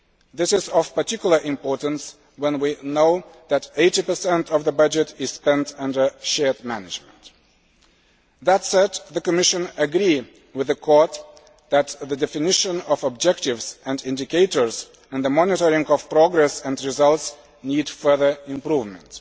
This is of particular importance when we know that 80 of the budget is spent under shared management. That said, the Commission agrees with the Court that the definition of objectives and indicators and the monitoring of progress and results need further improvement.